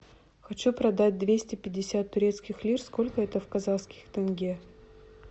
хочу продать двести пятьдесят турецких лир сколько это в казахских тенге